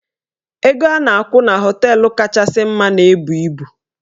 Ego a na-akwụ na họteelụ kachasị mma na-ebu ibu.